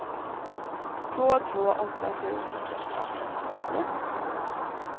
två två åtta sju femtioåtta femhundraåttioett